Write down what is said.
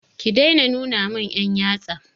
Ki daina nuna mun 'yan yatsa!